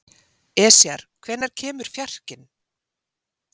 Esjar, hvenær kemur fjarkinn?